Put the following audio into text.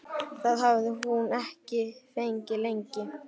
Það hafði hún ekki fengið lengi.